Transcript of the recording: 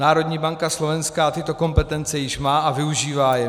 Národní banka slovenská tyto kompetence již má a využívá je.